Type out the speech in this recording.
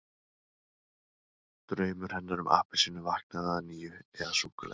Draumur hennar um appelsínu vaknaði að nýju- eða súkkulaði!